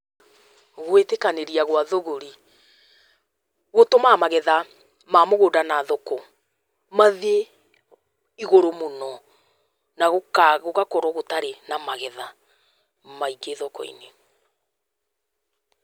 Gwĩtĩkanĩria gwa thũgũri gũtũmaga magetha ma mũgũnda na thoko mathiĩ igũrũ mũno, na gũgakorwo gũtarĩ na magetha maingĩ thoko-inĩ.